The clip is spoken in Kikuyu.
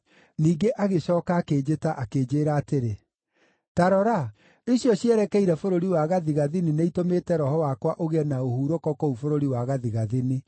Ningĩ agĩcooka akĩnjĩta akĩnjĩĩra atĩrĩ, “Ta rora, icio cierekeire bũrũri wa gathigathini nĩitũmĩte Roho wakwa ũgĩe na ũhurũko kũu bũrũri wa gathigathini.”